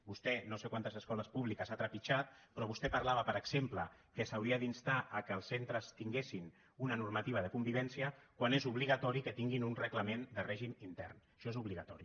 vostè no sé quantes escoles públiques ha trepitjat però vostè parlava per exemple que s’hauria d’instar que els centres tinguessin una normativa de convivència quan és obligatori que tinguin un reglament de règim intern això és obligatori